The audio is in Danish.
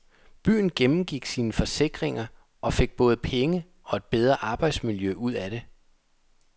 Byen gennemgik sine forsikringer og fik både penge og et bedre arbejdsmiljø ud af det.